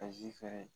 A ji fɛnɛ